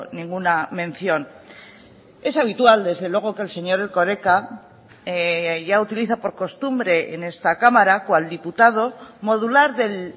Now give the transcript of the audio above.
ninguna mención es habitual desde luego que el señor erkoreka ya utiliza por costumbre en esta cámara cual diputado modular del